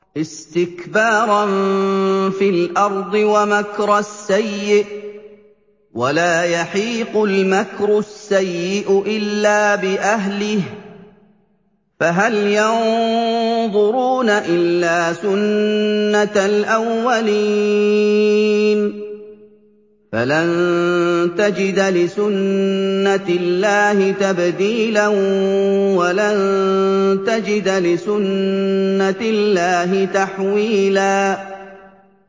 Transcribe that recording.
اسْتِكْبَارًا فِي الْأَرْضِ وَمَكْرَ السَّيِّئِ ۚ وَلَا يَحِيقُ الْمَكْرُ السَّيِّئُ إِلَّا بِأَهْلِهِ ۚ فَهَلْ يَنظُرُونَ إِلَّا سُنَّتَ الْأَوَّلِينَ ۚ فَلَن تَجِدَ لِسُنَّتِ اللَّهِ تَبْدِيلًا ۖ وَلَن تَجِدَ لِسُنَّتِ اللَّهِ تَحْوِيلًا